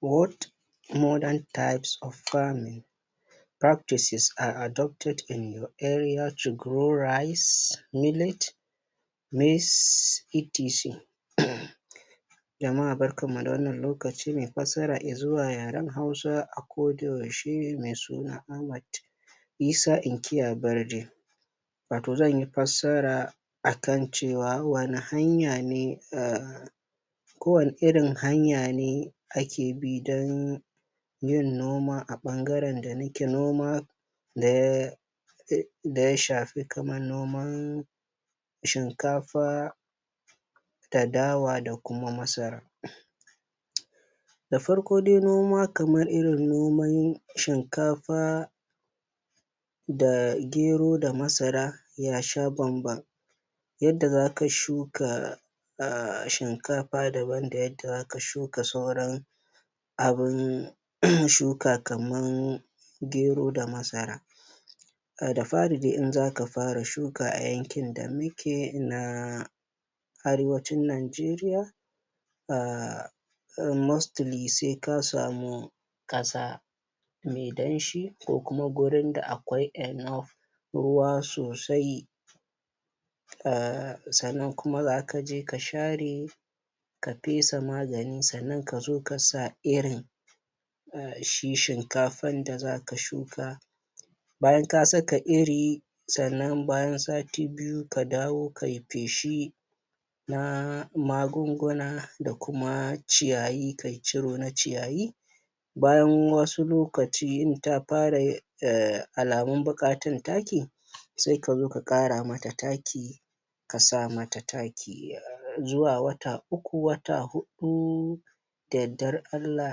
What Modern types of farming practices are adopted in your area to grow rice, millet, maize etc [c]. ah Jama'a barkan mu da wannan lokaci mai fassara Izuwa yaren Hausa a koda yaushe mai suna Ahmad Isa inkiya Barde, wato zan yi fassara a kan cewa wani irin hanya ne ah ko wani irin hanya ne ake bi dun yin noma a bangaren da nake noma da ya shafi kaman nomar shinkafa da dawa da kuma masara. Da fari dai in noma kaman irin noman shinkafa da gero da masara yasha bamban yadda za ka shuka ahh shinkafa daban da yadda za ka shuka sauran abin shuka kaman gero da masara. Da fari dai in zaka fara shuka a yankin da muke na arewacin Nigeria ah mostly sai ka samu kasa mai danshi ko kuma gurin da akwai enough ruwa sosai ah sannan kuma za ka je ka share ka fesa magani sannan ka zo ka sa irin ah shi shinkafan da za ka shuka. bayan ka saka iri sannan bayan sati biyu ka dawo ka yi feshi na magunguna da kuma ciyayi ka ciro na ciyayi, bayan wasu lokaci in ta fara ah alamu buƙatar taki sai ka zo ka kara mata taki ka sa mata taki, zuwa wata uku wata hudu da yardar Allah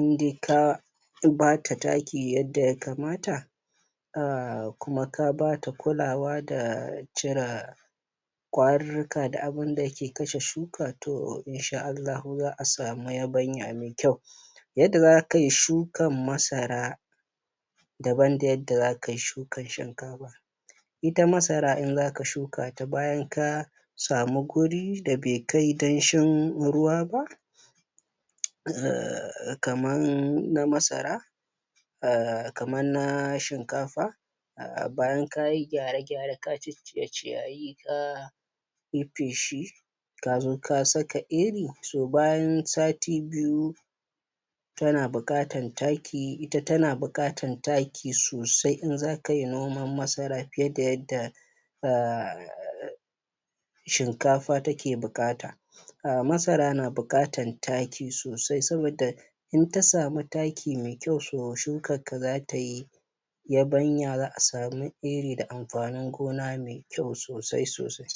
in dai ka bata taki yadda ya kamata ah kuma ka bata kulawa da cire kwarurruka da abin da yake kashe shuka toh in sha Allahu za a samu yabanya mai kyau. Yadda za ka yi shukan masara daban da yadda za ka yi shukan shinkafa. Ita masara idan za ka shuka ta bayan ka samu gurin da be kai danshin ruwa ba, ah kama na masara ahh kama na shinkafa [ah[ bayan kayi gyare gyare ka ciccire ciyayi ka yi feshi ka zo ka saka iri so bayan sati biyu tana buƙatan taki ita tana buƙatan taki sosai in za ka yi noman masara fiye da yadda ahh shinkafa take buƙata, ah masara na buƙatan taki sosai saboda in ta samu taki me kyau, toh shukarka za ta yi yabanya za a samu iri da amfanin gona mai kyau sosai sosai.